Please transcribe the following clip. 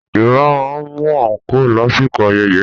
Yorùbá máa ń mú àǹkóò lásìkò ayẹyẹ